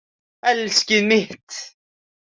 Elskið mitt!